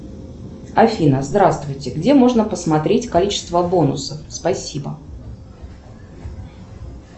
афина здравствуйте где можно посмотреть количество бонусов спасибо